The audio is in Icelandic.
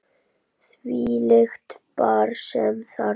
Þvílíkt par sem þarna fór.